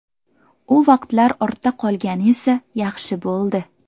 U vaqtlar ortda qolgani esa yaxshi bo‘ldi.